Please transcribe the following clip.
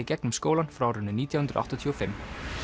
gegnum skólann frá árinu nítján hundruð áttatíu og fimm